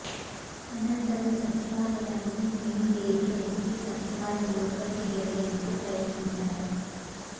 అనంతరం సచివాలయాన్ని main gate ఎక్కి సచివాలయం లోపలికి వెళ్లేందుకు ప్రయత్నించారు